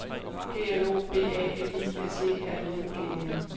G L O B A L I S E R I N G E N